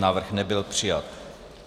Návrh nebyl přijat.